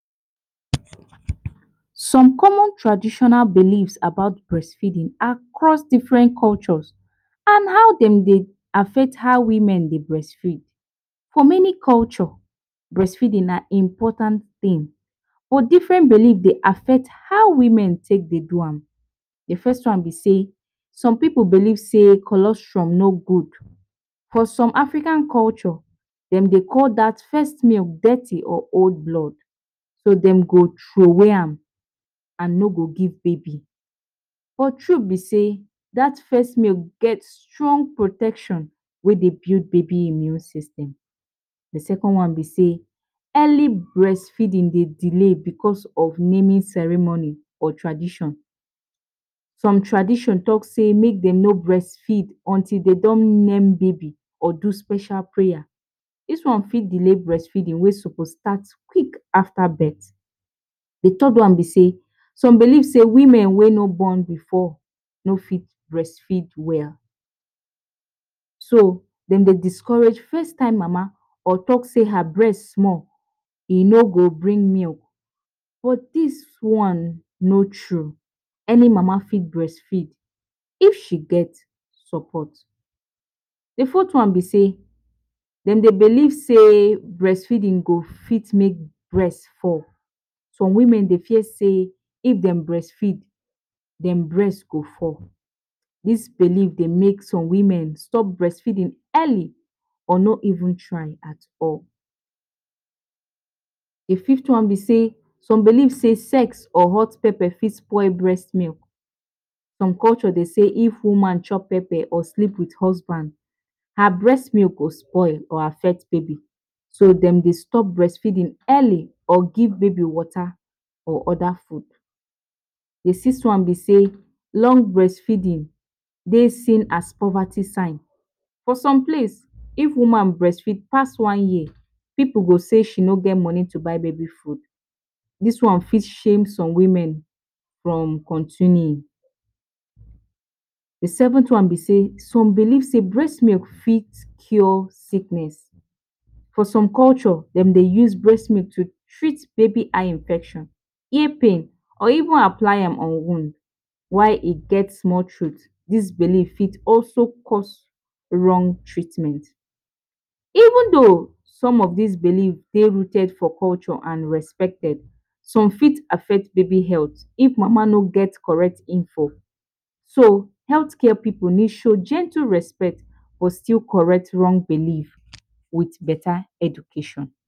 Some common traditional belief about breastfeeding across different cultures and how dem dey affect how women dey breastfeed, for many culture breastfeeding na important thing but different belief de affect how women take de do am. De first one be sey some pipu believe sey cholesterol no good for some African culture dem dey call dat first milk dirty or old blood so dem go trowey am and no go give baby, de truth be seydat first milk get strong protection whey de give baby immune system. De second one be sey early breastfeeding dey delay because of naming ceremony or tradition some tradition talk sey make dem no breast feed until dey don name baby do special prayer, dis one fit delay breastfeeding wey suppose start quick after birth. De third one be sey some believe sey women whey no born before no fit breast feed well, so dem dey discourage first time mama or talk sey her breast small e no go bring milk but dis one no true any mama fit breastfeed if she get support. De fourth one be sey dem dey believe sey breast feeding go fit make breast fall, some women dey fear sey if dem breast feed dem breast go fall dis belief dey make some women stop breastfeeding early or no even try at all. De fifth one be sey some believe sex or hot pepper fit spoil breast milk, some culture dey sey if woman chop pepper or sleep with husband her breast milk go spoil or affect baby so dem dey stop breast feeding early or give baby water or other food de sixth one be sey long breast feeding dey seen as poverty sign for some place, if woman breast feed pass one year pipu go sey she no get money to buy baby food dis one fit shame some women from continuing. De seventh one be sey some believe sey breast milk fit cure sicknessfor some culture dem de use breast milk to take baby eye infection or even apply am on wound why e get small truth dis belief fit also cause wrong treatment, even though some of dis belief de rooted for cultured some fit affect baby health if mama no get correct info so health care pipu fit show gentle respect go correct wrong belief with beta education.